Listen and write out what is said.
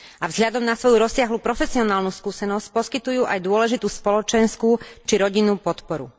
A vzhľadom na svoju rozsiahlu profesionálnu skúsenosť poskytujú aj dôležitú spoločenskú či rodinnú podporu.